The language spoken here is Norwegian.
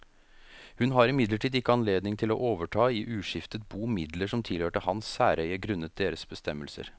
Hun har imidlertid ikke anledning til å overta i uskiftet bo midler som tilhørte hans særeie grunnet deres bestemmelser.